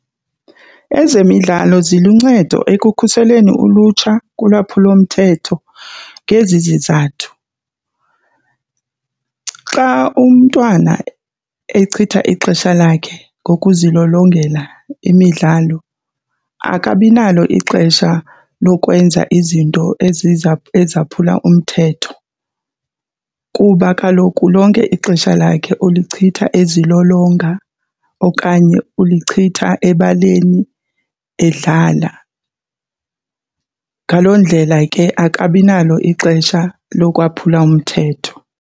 Ezemidlalo ziluncedo ekukhuseleni ulutsha kulwaphulomthetho ngezi zizathu. Xa umntwana echitha ixesha lakhe ngokuzilolongela imidlalo akabi nalo kuphi ixesha lokwenza izinto ezaphula umthetho kuba kaloku lonke ixesha lakhe ulichitha ezilolonga okanye ulichitha ebaleni edlala. Ngaloo ndlela ke akabi nalo ixesha lokwaphula umthetho.